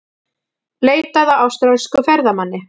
Leitað að ítölskum ferðamanni